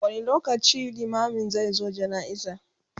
wani lokaci limamin zai zo jana'iza?